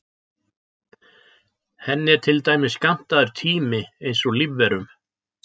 Henni er til dæmis skammtaður tími eins og lífverum.